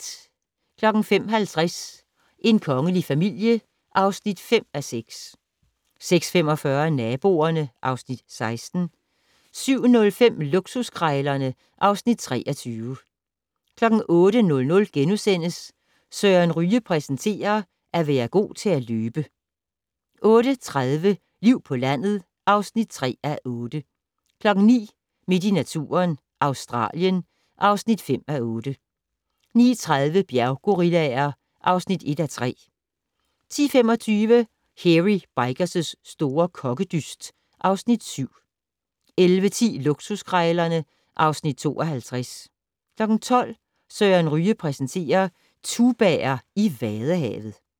05:50: En kongelig familie (5:6) 06:45: Naboerne (Afs. 16) 07:05: Luksuskrejlerne (Afs. 23) 08:00: Søren Ryge præsenterer: At være god til at løbe * 08:30: Liv på landet (3:8) 09:00: Midt i naturen - Australien (5:8) 09:30: Bjerggorillaer (1:3) 10:25: Hairy Bikers' store kokkedyst (Afs. 7) 11:10: Luksuskrejlerne (Afs. 52) 12:00: Søren Ryge præsenterer: Tubaer i vadehavet